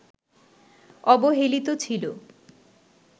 অবহেলিত ছিল